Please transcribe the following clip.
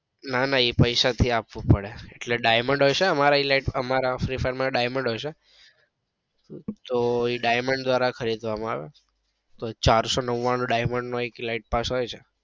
ના ના એ પૈસા થી આપવું પડે. એટલે diamond હોય છે અમારા free fire માં diamond હોય છે તો એ diamond ધ્વરા ખરીદવા માં આવે તો એ ચારસો નવાણું diamond નો એક elite પાસ આવે.